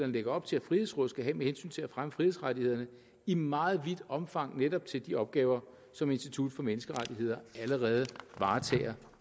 lægger op til at frihedsrådet skal have med hensyn til at fremme frihedsrettighederne i meget vidt omfang netop til de opgaver som institut for menneskerettigheder allerede varetager